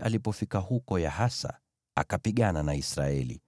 Alipofika huko Yahazi, akapigana na Israeli.